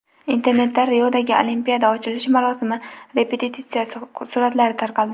Internetda Riodagi Olimpiada ochilish marosimi repetitsiyasi suratlari tarqaldi .